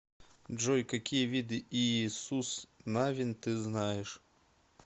джой какие виды иисус навин ты знаешь